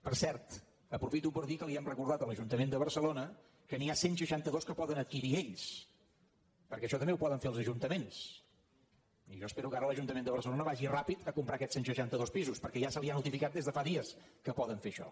per cert aprofito per dir que li hem recordat a l’ajuntament de barcelona que n’hi ha cent i seixanta dos que poden adquirir ells perquè això també ho poden fer els ajuntaments i jo espero que ara l’ajuntament de barcelona vagi ràpid a comprar aquests cent i seixanta dos pisos perquè ja se li ha notificat des de fa dies que poden fer això